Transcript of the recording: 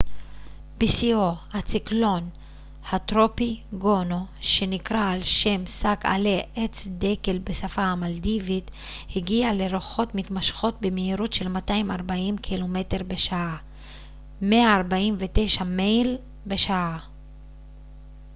בשיאו הציקלון הטרופי גונו שנקרא על שם שק עלי עץ דקל בשפה המלדיבית הגיע לרוחות מתמשכות במהירות של 240 קילומטר בשעה 149 מייל בשעה